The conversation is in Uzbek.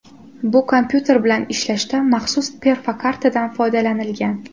Bu kompyuter bilan ishlashda maxsus perfokartadan foydalanilgan.